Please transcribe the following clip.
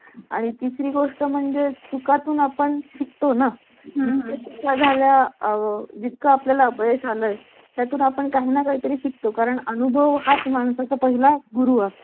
sofa cum bed, laptop, fridge, washing machine आपल्या संकेतस्थळावर या वस्तू विकण्यासाठी प्रसिद्ध करायचे आहेत